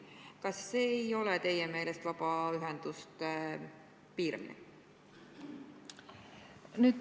Kas see ei ole teie meelest vabaühenduste piiramine?